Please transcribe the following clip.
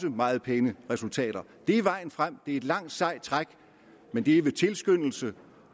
meget pæne resultater det er vejen frem det er et langt sejt træk men det er ved tilskyndelse